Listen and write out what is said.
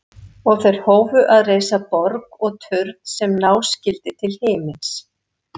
Og þeir hófu að reisa borg og turn sem ná skyldi til himins.